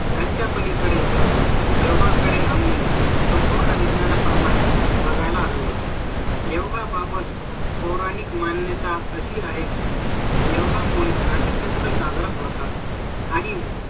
यांच्या पलीकडे जाऊन जेव्हा कधी आम्ही संपूर्ण विज्ञाना प्रमाणे बघायला हवी. योगा बाबत पौराणिक मान्यता अशी आहे की योगा मुळे आठ चित्र जागृत होतात आणि